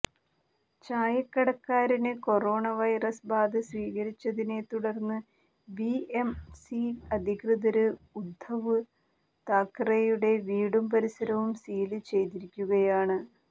ചായക്കടക്കാരന് corona virus ബാധ സ്ഥിരീകരിച്ചതിനെ തുടര്ന്ന് ബിഎംസി അധികൃതര് ഉദ്ധവ് താക്കറെയുടെ വീടും പരിസരവും സീല് ചെയ്തിരിക്കുകയാണ്